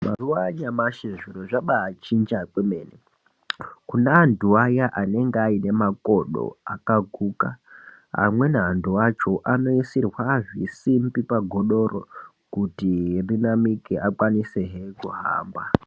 Mazuwa anyamashi zvintu zvamanjitya kwemene ,kune antu aya anenge aine makodo akaguka amweni antu acho anoisirwa zvisimbi pagodo-ro kuti rinamike akwanise-he kuhamba